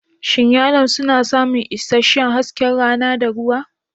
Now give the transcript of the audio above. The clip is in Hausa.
Shin yalon suna samun isasshen hasken rana da ruwa?